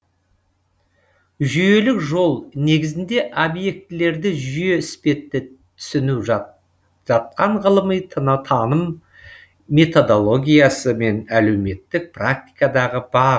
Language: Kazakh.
жүйелік жол негізінде объектілерді жүйе іспетті түсіну жатқан ғылыми таным методологиясы мен әлеуметтік практикадағы бағыт